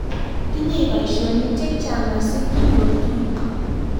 tinyei boisionik chechang' masikchini otuye